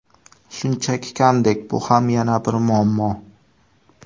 Shunchasi kamdek, bu ham yana bir muammo.